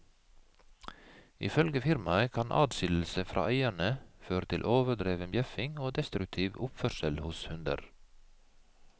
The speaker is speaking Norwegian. Ifølge firmaet kan adskillelse fra eierne føre til overdreven bjeffing og destruktiv oppførsel hos hunder.